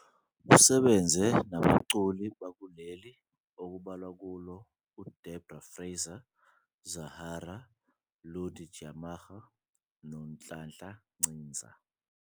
Usebenze nabaculi bakuleli okubalwa kubo uDeborah Fraser, Zahara, Lundi Tyamara noNhlanhla Nciza.